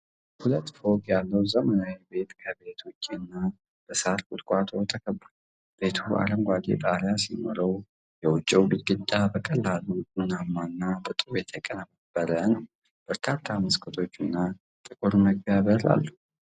ሁለት ፎቅ ያለው ዘመናዊ ቤት ከቤት ውጪ በሳርና ቁጥቋጦ ተከቧል። ቤቱ አረንጓዴ ጣሪያ ሲኖረው፣ የውጪው ግድግዳው በቀላል ቡናማና በጡብ የተቀነባበረ ነው። በርካታ መስኮቶችና ጥቁር መግቢያ በር አለው።